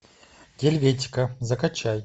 гельветика закачай